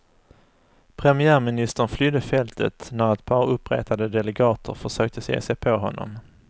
Premiärministern flydde fältet när ett par uppretade delegater försökte ge sig på honom.